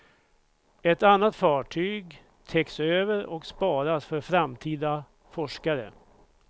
Ett annat fartyg täcks över och sparas för framtida forskare.